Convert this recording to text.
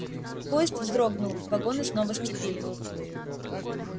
поезд вздрогнул вагоны снова сцепили